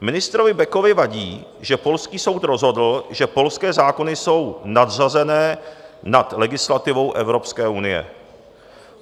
Ministrovi Bekovi vadí, že polský soud rozhodl, že polské zákony jsou nadřazené nad legislativou Evropské unie.